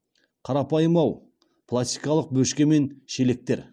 қарапайым ау пластикалық бөшке мен шелектер